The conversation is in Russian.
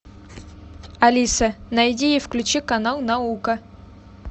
алиса найди и включи канал наука